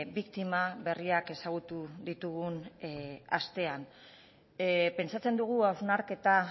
biktima berriak ezagutu ditugun astean pentsatzen dugu hausnarketa